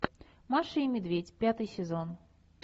маша и медведь пятый сезон